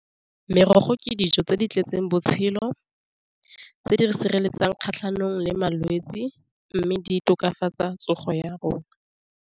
Merogo ke dijo tse di tletseng botshelo tse di sireletsang kgatlhanong le malwetsi, mme di tokafatsa tsogo ya rona.